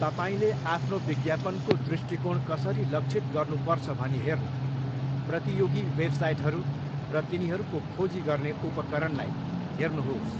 तपाईँले आफ्नो विज्ञापनको दृष्टिकोण कसरी लक्षित गर्नुपर्छ भनी हेर्न प्रतियोगी वेबसाइटहरू र तिनीहरूको खोजी गर्ने उपकरणलाई हेर्नुहोस्।